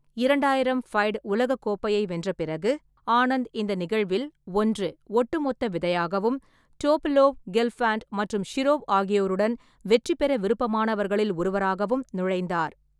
இரண்டாயிரம் ஃபைடு உலகக் கோப்பையை வென்ற பிறகு, ஆனந்த் இந்த நிகழ்வில் ஒன்று ஒட்டுமொத்த விதையாகவும், டோபலோவ், கெல்ஃபாண்ட் மற்றும் ஷிரோவ் ஆகியோருடன் வெற்றி பெற விருப்பமானவர்களில் ஒருவராகவும் நுழைந்தார்.